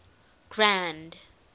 grand